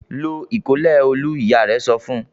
"Lo ìkọ́lẹ̀ Olú!" Ìyá rẹ̀ sọ fún un.